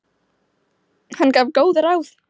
Hann gaf góð ráð.